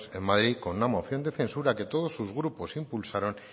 en madrid con una moción de censura que todos sus grupos impulsaron